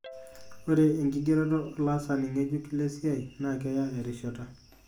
Ore enkigeroto olaasani ngejuk lesiai na keya erishata.